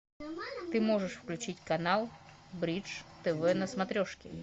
ты можешь включить канал бридж тв на смотрешке